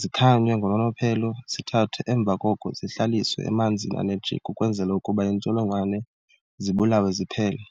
zikhanywe ngononophelo zithathwe emva koko zihlaliswe emanzini ane jik ukwenzela ukuba iintsholongwane zibulawe ziphele.